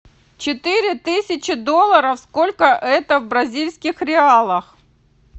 четыре тысячи долларов сколько это в бразильских реалах